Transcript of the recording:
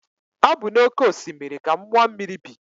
Ọ bụ na oke osimiri ka mmụọ mmiri bi.